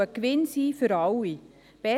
Es soll ein Gewinn sein für alle.